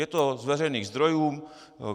Je to z veřejných zdrojů.